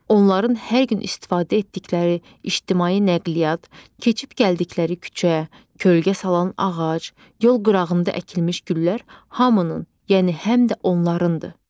Onların hər gün istifadə etdikləri ictimai nəqliyyat, keçib gəldikləri küçə, kölgə salan ağac, yol qırağında əkilmiş güllər hamının, yəni həm də onlarındır.